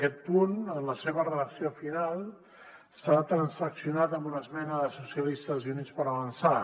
aquest punt en la seva redacció final s’ha transaccionat amb una esmena de socialistes i units per avançar